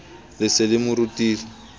le se le mo rutile